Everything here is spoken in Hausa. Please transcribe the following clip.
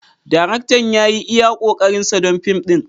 Daraktan ya yi iya ƙoƙarinsa don fim ɗin.